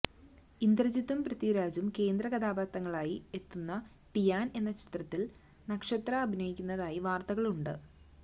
ഇന്ദ്രജിത്തും പൃഥ്വിരാജും കേന്ദ്ര കഥാപാത്രങ്ങളായി എത്തുന്ന ടിയാന് എന്ന ചിത്രത്തില് നക്ഷത്ര അഭിനയിക്കുന്നതായി വാര്ത്തകളുണ്ട്